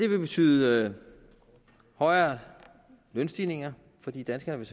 vil betyde højere lønstigninger fordi danskerne